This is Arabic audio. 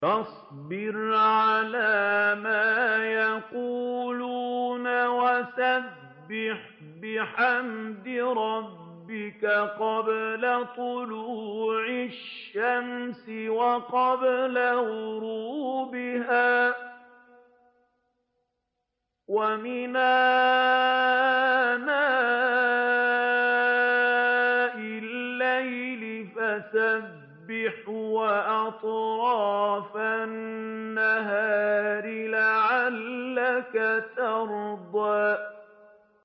فَاصْبِرْ عَلَىٰ مَا يَقُولُونَ وَسَبِّحْ بِحَمْدِ رَبِّكَ قَبْلَ طُلُوعِ الشَّمْسِ وَقَبْلَ غُرُوبِهَا ۖ وَمِنْ آنَاءِ اللَّيْلِ فَسَبِّحْ وَأَطْرَافَ النَّهَارِ لَعَلَّكَ تَرْضَىٰ